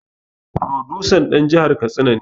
Furodusan dan jihar katsina ne